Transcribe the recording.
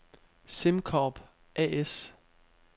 SimCorp A/S